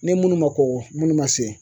Ni minnu ma kɔgɔ ni munnu ma se